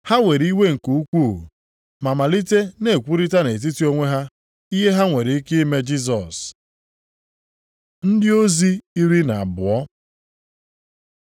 Ha were iwe nke ukwuu ma malite na-ekwurịtara nʼetiti onwe ha ihe ha nwere ike ime Jisọs. Ndị ozi iri na abụọ